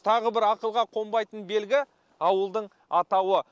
тағы бір ақылға қонбайтын белгі ауылдың атауы